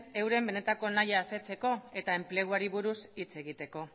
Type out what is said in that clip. euren benetan nahia asetzeko eta enpleguari buruz hitz egiteko